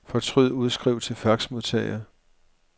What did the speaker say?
Fortryd udskriv til faxmodtager.